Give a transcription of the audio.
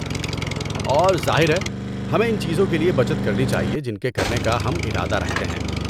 اور ظاہر ہے، ہمیں ان چیزوں کے لیے بچت کرنی چاہیے جن کے کرنے کا ہم ارادہ رکھتے ہیں۔